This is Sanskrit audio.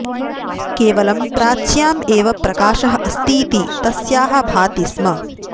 केवलं प्राच्याम् एव प्रकाशः अस्तीति तस्याः भाति स्म